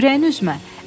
Ürəyini üzmə.